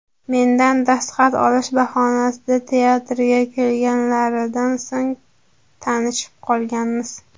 Mendan dastxat olish bahonasida teatrga kelganlaridan so‘ng tanishib qolganmiz.